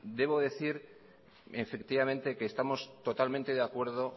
debo decir efectivamente que estamos totalmente de acuerdo